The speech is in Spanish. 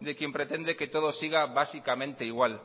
de quien pretende que todo siga básicamente igual